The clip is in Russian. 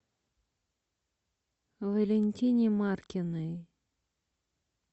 валентине маркиной